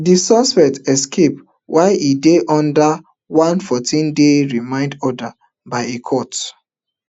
di suspect escape while e dey under one fourteenday remand order by a court